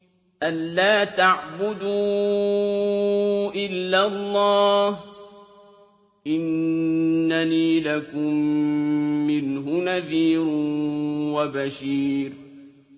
أَلَّا تَعْبُدُوا إِلَّا اللَّهَ ۚ إِنَّنِي لَكُم مِّنْهُ نَذِيرٌ وَبَشِيرٌ